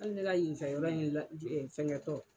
Hali ne ka yenfɛ yɔrɔ in ɛɛ fɛngɛ kɔ